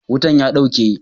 Wutan ya dauke.